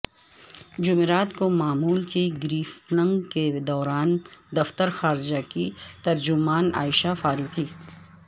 جمعرات کو معمول کی بریفنگ کے دوران دفتر خارجہ کی ترجمان عائشہ فاروقی